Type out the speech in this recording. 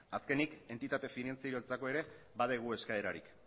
azkenik entitate finantzieroentzako ere badugu eskaerarik